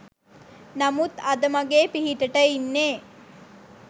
නමුත් අද මගේ පිහිටට ඉන්නේ